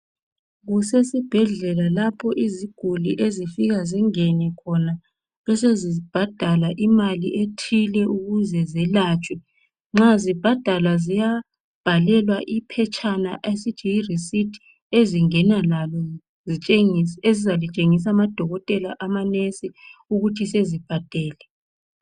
Kusesibhedlela lapho iziguli ezifika zingene khona besezibhadala imali ethile ukuze zelatshwe nxa zibhadala ziyabhalelwa iphetshana esithi yireceipt ezingena lalo ezizalitshengisa amadokotela amanesi ukuthi sezibhadele.